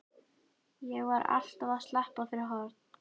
Ég var alltaf að sleppa fyrir horn.